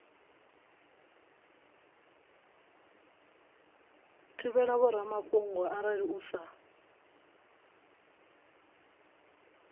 thivhela vhoramafhungo arali u sa